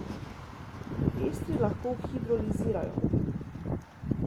Estri lahko hidrolizirajo.